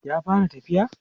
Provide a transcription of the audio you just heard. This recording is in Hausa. ya fara tafiya?